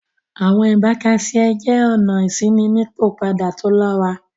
Awọn ibàkàsíẹ̀ jẹ́ ọ̀nà ìṣinípọpada tó lọ́rà